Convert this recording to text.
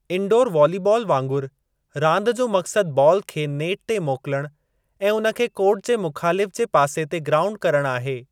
Indoor volleyball वांगुरु, रांदि जो मक़सदु बालु खे नेट ते मोकिलणु ऐं उन खे कोर्ट जे मुख़ालिफ़ु जे पासे ते ग्राऊंड करणु आहे।